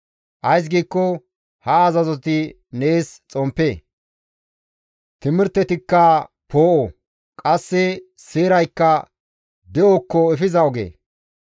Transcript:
Ays giikko ha azazoti nees xomppe; timirtetikka poo7o; qasse seeraykka de7okko efiza oge.